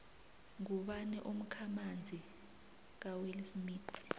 ngubani umkhamanzi kawillsmith